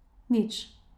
Nič.